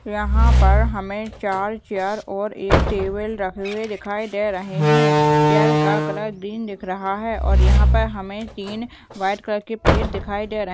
यहा पर हमे चार चेयर और एक टेबल रखे हुए दिखाई दे रहे है चेयर का कलर ग्रीन दिख रहा है और यहा पर हमे तीन व्हाइट कलर की प्लेट दिखाई दे रहे।